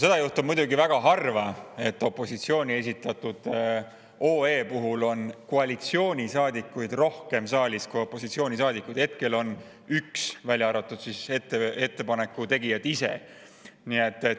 Seda juhtub muidugi väga harva, et opositsiooni esitatud OE puhul on koalitsioonisaadikuid saalis rohkem kui opositsioonisaadikuid, keda hetkel on üks, kui välja arvata ettepaneku tegijad ise.